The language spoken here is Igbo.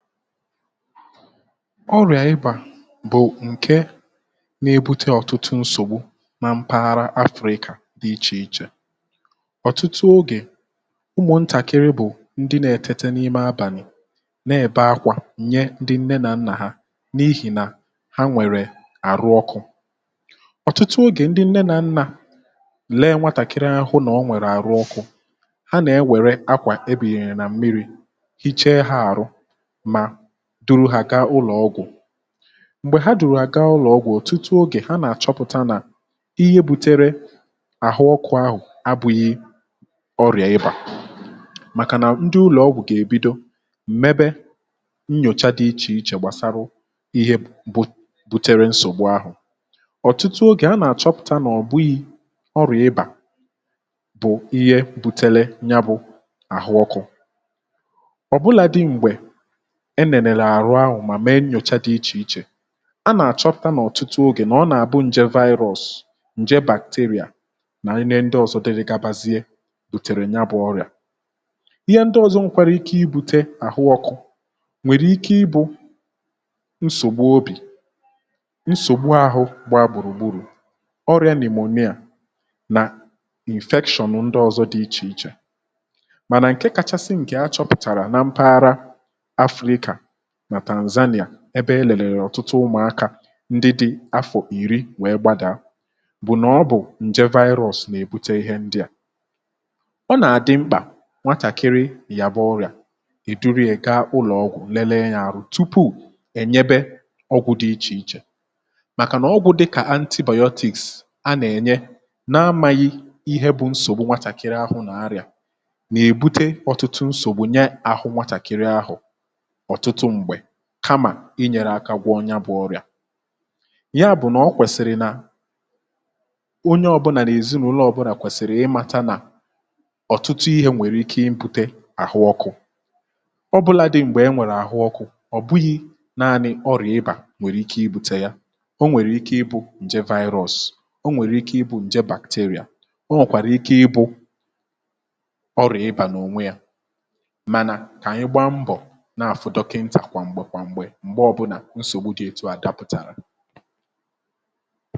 ọrịà ibà bụ̀ ǹke na-ebute ọ̀tụtụ nsògbu ma mpaghara afrika dị ichè ichè, ọ̀tụtụ ogè ụmụ̀ ntàkịrị bụ̀ ndị na etėtė n’ime abàlị̀ nà-ebe akwà nye ndị nne nà nnà ha n’ihì nà ha nwèrè àrụ ọkụ̇ ọ̀tụtụ ogè ndị nne nà nnà leė nwatàkịrị anya hụ na o nwèrè àrụ ọkụ̇ ha nà-ewère akwà ebinyere nà mmiri̇ hichaa ha ahụ ma duru hà gaa ụlọ̀ ọgwụ̀ m̀gbè ha duru hà gaa ụlọ̀ ọgwụ̀, ọ̀tụtụ ogè, ha nà-àchọpụ̀ta nà ihe butere àhụ ọkụ̇ ahụ̀ abụ̀ghị ọrịà ịbà màkà nà ndị u̇lọ̀ ọgwụ̀ gà-èbido m̀ mebe nnyòcha dị̇ ichè ichè gbasarụ ihe bụ butere nsògbu ahụ̀ ọ̀tụtụ ogè a nà-àchọpụ̀ta nà ọ̀ bughi ọrịà ịbà bụ̀ ihe bùtere yà bu àhụ oku obuladị mgbe elelere ahụ ahu ma mee nyocha di iche iche a nà-àchọpụ̀ta n’ọ̀tụtụ ogè nà ọ nà-àbụ ǹje virus, ǹje bacteria nà ihe ndị ọ̀zọ dere gabazie bùtèrè ya bụ̇ ọrị̀à ihe ndị ọ̀zọ nkwere ike ibu̇tè àhụ ọkụ̇ ,nwèrè ike ibụ nsògbu obì nsògbu àhụ gba gbùrù gburù ọrị̀a pneumonia nà infection ndị ozo di iche iche mana nke kachasị nke achoputara na mpaghara Afrịka na tanzania ebe elele ọ̀tụtụ ụmụ̇akȧ ndị dị̇ afọ̀ ìri wee gbadaa bụ̀ nà ọ bụ̀ ǹjė virus nà-èbute ihe ndị à ọ nà-àdị mkpà nwatàkịrị yȧba ọrị̀à ì duru ya gaa ụlọ̀ ọgwụ̀ lelee ya arụ̀ tupu ènyebe ọgwụ̇ dị ichè ichè màkà nà ọgwụ̇ dịkà antibiotics a nà-ènye na-amȧghị ihe bụ̀ nsògbu nwatàkịrị ahụ̇ nà arị̀à nà-èbute ọtụtụ nsògbu nye àhụ nwatàkịrị ahụ̀ ọtụtụ mgbe kamà inyèrèakȧ gwoo ya bụ̇ ọrị̀à, ya bụ̀ nà ọ kwèsìrì nà onye ọ̇bụ̇là nà èzinụ̇lọ̇ ọbụlà nà kwèsìrì ịmàta nà ọ̀tụtụ ihė nwèrè ike ịbụ̇tė àhụ ọkụ̇ ọbụlȧdị̇ m̀gbè e nwèrè àhụ ọkụ̇ ọ̀ bụghị̇ naanị ọrị̀à ịbà nwèrè ike ịbu̇tė ya o nwèrè ike ịbu̇ ǹje virus, o nwèrè ike ịbụ̇ ǹje bacteria ,o nwekwàrà ike ịbụ̇ ọrị̀à ịbà n’ònwe yȧ mana ka anyị gbaa mbọ na afụ dokinta gwa mgbe gwa mgbe, mgbe obula nsògbu dị etu à dàpụ̀tàrà